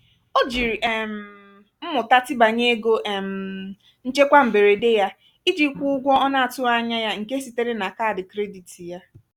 o jiri um mmụta tibanye ego um nchekwa mberede ya iji kwụọ ụgwọ ọ na-atughị anya ya nke sitere na kaadị krediti ya.